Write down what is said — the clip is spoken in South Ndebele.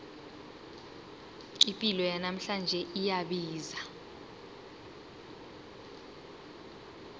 ipilo yanamhlanje iyabiza